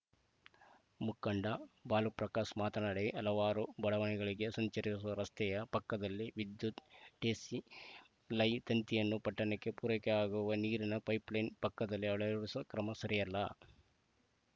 ಮುಖಂಡ ಬಾಲುಪ್ರಕಾಶ್‌ ಮಾತನಾಡಿ ಹಲವಾರು ಬಡಾವಣೆಗಳಿಗೆ ಸಂಚರಿಸುವ ರಸ್ತೆಯ ಪಕ್ಕದಲ್ಲಿ ವಿದ್ಯುತ್‌ ಟಿಸಿ ಲೈ ತಂತಿಯನ್ನು ಪಟ್ಟಣಕ್ಕೆ ಪೂರೈಕೆಯಾಗುವ ನೀರಿನ ಪೈಪ್‌ಲೈನ್‌ ಪಕ್ಕದಲ್ಲಿ ಅಳವಡಿಸುವ ಕ್ರಮ ಸರಿಯಲ್ಲ